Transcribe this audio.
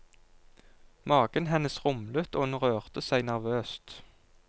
Magen hennes rumlet og hun rørte seg nervøst.